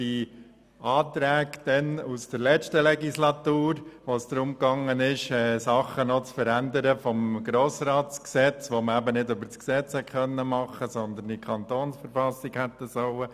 Wir haben während der letzten Legislaturperiode Anträge beraten, in welchen es darum ging, etwas im Gesetz über den Grossen Rat (Grossratsgesetz, GRG) zu verändern, was eben nicht im Gesetz, sondern in der KV hätte verändert werden sollen.